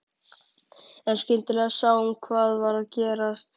En skyndilega sá hún hvað var að gerast.